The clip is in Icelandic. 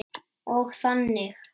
Og þannig.